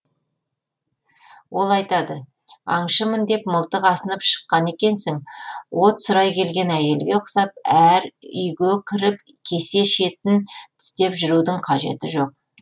ол айтады аңшымын деп мылтық асынып шыққан екенсің от сұрай келген әйелге ұқсап әр үйге кіріп кесе шетін тістеп жүрудің қажеті жоқ